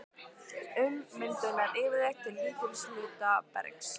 Ummyndun nær yfirleitt til lítils hluta bergs.